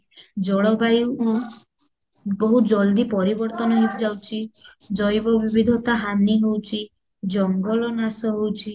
ଜଳ ବାୟୁ ବହୁତ ଜଳଦି ପରିବର୍ତନ ହେଇଯାଉଚି ଜୈବ ବିବିଧତା ହାନୀ ହଉଚି ଜଙ୍ଗଲ ନାଶ ହଉଚି